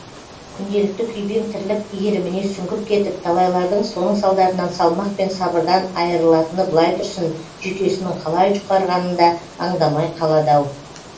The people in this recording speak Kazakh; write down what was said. күнделікті күйбең тірлік иіріміне сүңгіп кетіп талайлардың соның салдарынан салмақ пен сабырдан айырылатыны былай тұрсын жүйкесінің қалай жұқарғанын да аңдамай қалады ау